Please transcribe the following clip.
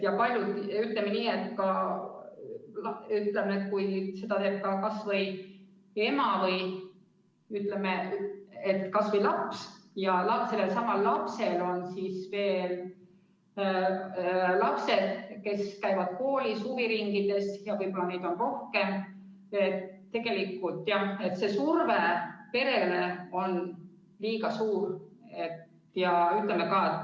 Ja ütleme nii, et kui seda raha maksab laps ja sellel lapsel on veel omakorda lapsed, kes käivad koolis, huviringides, ja võib-olla neid on rohkem, siis tegelikult, jah, see surve perele on liiga suur.